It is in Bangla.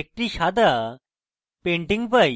একটি সাদা painting পাই